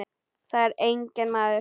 Þar er enginn maður.